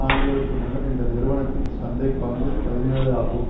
ஆண்டுகளுக்கு முன்னர் இந்த நிறுவனத்தின் சந்தை பங்கு பதினேழு ஆகும்